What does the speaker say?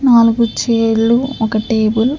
నాలుగు చైర్ లు ఒక టేబుల్ .